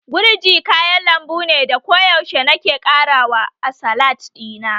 Gurji kayan lambu ne da koyaushe nake ƙara wa a salat ɗina